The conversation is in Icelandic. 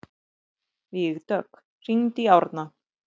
Vígdögg, hringdu í Árna.